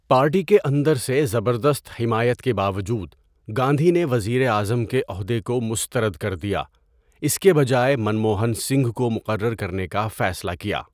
Party کے اندر سے زبردست حمایت کے باوجود، گاندھی نے وزیر اعظم کے عہدے کو مسترد کر دیا، اس کے بجائے منموہن سنگھ کو مقرر کرنے کا فیصلہ کیا۔